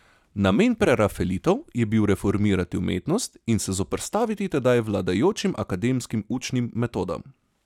Namen prerafaelitov je bil reformirati umetnost in se zoperstaviti tedaj vladajočim akademskim učnim metodam.